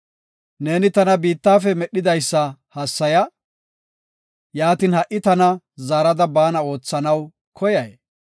Neeni tana biittafe medhidaysa hassaya Yaatin, ha77i tana zaarada baana oothanaw koyay?